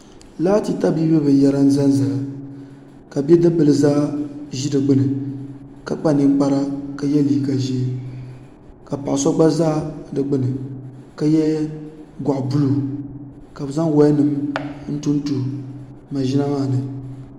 laati tabiibu binyɛra n ʒɛnʒɛya ka bidib bili ʒi di gbuni ka kpa ninkpara ka yɛ liiga ʒiɛ ka paɣa so gba ʒɛ di gbuni ka yɛ goɣa buluu ka bi zaŋ woya nim n tuntu maʒina maa ni